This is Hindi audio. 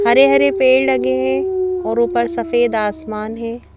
हरे-हरे पेड़ लगे हैं और ऊपर सफेद आसमान हैं।